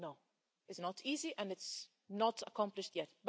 No, it's not easy and it's not accomplished yet.